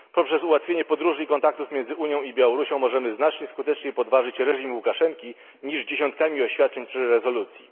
Poprzez ułatwienie podróży i kontaktów pomiędzy Unią i Białorusią możemy znacznie skuteczniej podważyć reżim Łukaszenki, niż dziesiątkami oświadczeń czy rezolucji.